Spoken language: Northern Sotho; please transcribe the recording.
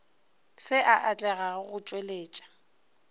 se a atlega go tšweletša